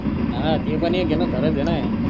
हा ते पण एक घेन खरच आहेन.